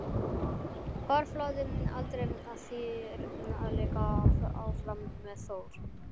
Hvarflaði aldrei að þér að leika áfram með Þór?